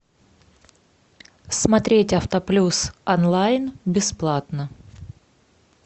смотреть автоплюс онлайн бесплатно